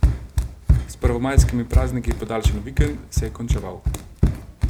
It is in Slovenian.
S prvomajskimi prazniki podaljšan vikend se je končeval.